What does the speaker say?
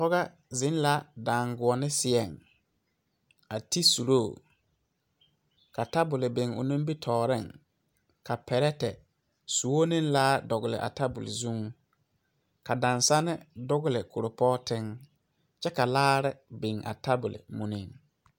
pɔgɔ zeŋ la daŋgɔnne seɛŋ a ti suro ka tabol biŋ o nimitɔreŋ, ka pɛɛrɛɛtɛɛ, soɔ ane laa dɔgeli a tabol zʋŋ, ka daaŋsane dogele kurpoti kyɛ ka.laare biŋ a tabol muniŋ